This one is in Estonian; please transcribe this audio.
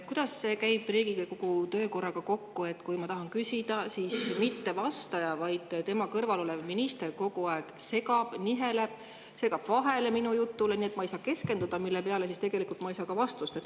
Kuidas see käib Riigikogu töökorraga kokku, et kui ma tahan küsida, siis mitte vastaja, vaid tema kõrval olev minister kogu aeg segab, niheleb, segab vahele minu jutule, nii et ma ei saa keskenduda ja mille peale tegelikult ma ei saa ka vastust.